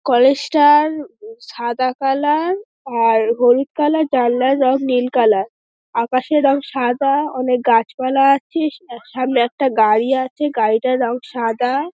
College টার উ সাদা কালার আর হলুদ কালার জানলার রং নীল কালার । আকাশের রং সাদা অনেক গাছপালা আছে। স সামনে একটা গাড়ি আছে গাড়িটার রং সাদা |